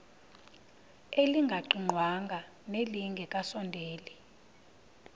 elingaqingqwanga nelinge kasondeli